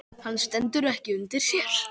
Hann stendur ekki undir sér.